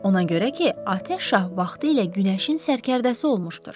Ona görə ki, atəş şah vaxtilə günəşin sərkərdəsi olmuşdur.